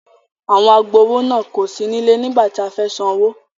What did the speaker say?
Àwọn agbowó náà kò sí nílẹ nígbà tí a fẹ́ sanwó.